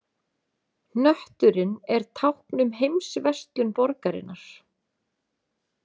Hnötturinn er tákn um heimsverslun borgarinnar.